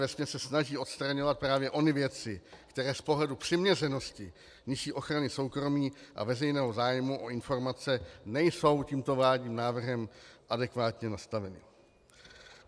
Vesměs se snaží odstraňovat právě ony věci, které z pohledu přiměřenosti nižší ochrany soukromí a veřejného zájmu o informace nejsou tímto vládním návrhem adekvátně nastaveny.